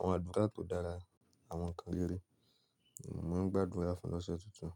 Àwọn àdúrà tó dára, àwọn ǹkan rere. Mo máa ń gbàdúrà fún l'ọọ́sẹ̀ tuntun.